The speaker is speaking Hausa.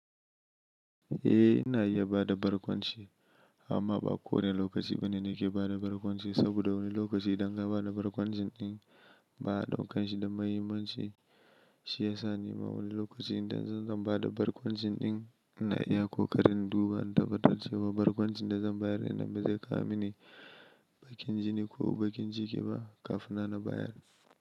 Eh ina iya bada barkwanci amma ba kowane lokaci bane nake bada barkwanci saboda wani lokaci idan ka bada barkwancin ba don kanshi da muhimmancin shi ya sa ni ma wani lokaci idan zan bada barkwancin ina iya ko karin duba in tabbatar cewa barkwancin da zan bayar dinan bazai kamini bakin jini ko bakin jiki ba kaf ina na bayar.